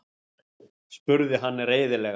spurði hann reiðilega.